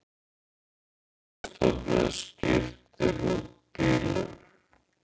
Umhverfisstofnun skiptir út bílum